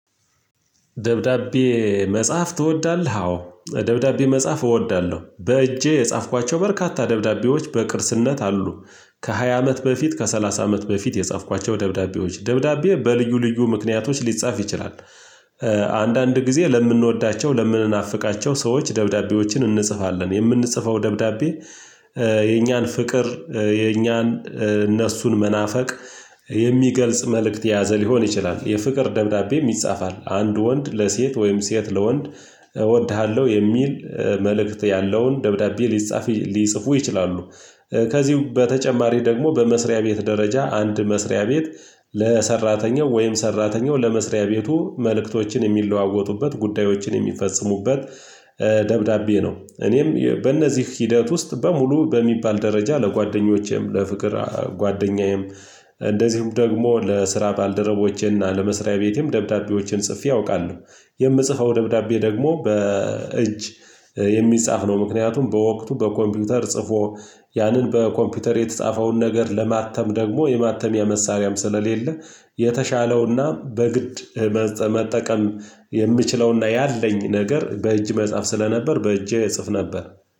ደብዳቤ መጽሐፍ ትወዳለህ አዎ ደብዳቤ መጽሐፍ እወዳለሁ በእጄ የጻፍኳቸው በርካታ ደብዳቤዎች በቅርስነት አሉ ከሃያ አመት በፊት ከሰላሳ አመት በፊት የጻፍኳቸው ደብዳቤዎች ደብዳቤ በልዩ ልዩ ምክንያቶች ሊጻፍ ይችላል። አንዳንድ ጊዜ ለምንወዳቸው ለምንናፍቃቸው ሰዎች ደብዳቤዎችን እንጽፋለን የምንጽፈው ደብዳቤ የኛን ፍቅር የኛን እነሱን መናፈቅ የሚገልጽ መልእክት የያዘ ሊሆን ይችላል። የፍቅር ደብዳቤም ይጻፋል። አንድ ወንድ ለሴት ወይም ሴት ለወንድ እወድሃለሁ የሚል መልእክት ያለውን ደብዳቤ ሊጻፍ ሊጽፉ ይችላሉ። ከዚሁ በተጨማሪ ደግሞ በመስሪያ ቤት ደረጃ አንድ መስሪያ ቤት ለሰራተኛው ወይም ሰራተኛው ለመስሪያ ቤቱ መልእክቶችን የሚለዋወጡበት ጉዳዮችን የሚፈጽሙበት ደብዳቤ ነው። እኔም በእነዚህ ሂደት ውስጥ በሙሉ በሚባል ደረጃ ለጓደኞቼም ለፍቅር ጓደኛዬም እንደዚሁም ደግሞ ለስራ ባልደረቦቼና ለመስሪያ ቤቴም ደብዳቤዎችን ጽፌ አውቃለሁ። የምጽፈው ደብዳቤ ደግሞ በእጅ የሚጻፍ ነው። ምክንያቱም በወቅቱ በኮምፒውተር ጽፎ ያንን በኮምፒውተር የተጻፈውን ነገር ለማተም ደግሞ የማተሚያ መሳሪያም ስለሌለ። የተሻለውና በግድ መጠቀም የምችለውና ያለኝ ነገር በእጅ መጽሐፍ ስለነበር በእጄ እጽፍ ነበር።